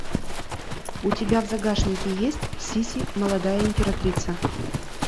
у тебя в загашнике есть сисси молодая императрица